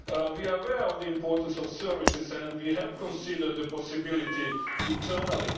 We are aware of the importance of services and we have considered the possibility internally.